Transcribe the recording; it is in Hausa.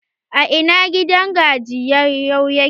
A ina gidan gajiyayu yake?